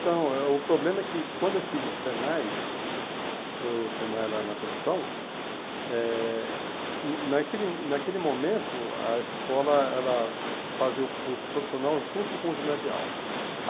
Então, é o problema é que quando eu fiz o Senai, o Senai lá na profissão, eh hum naquele naquele momento a escola ela fazia o curso profissional junto com o ginasial.